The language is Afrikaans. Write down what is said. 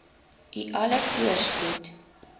u alle voorspoed